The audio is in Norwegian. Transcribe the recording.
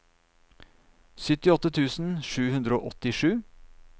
syttiåtte tusen sju hundre og åttisju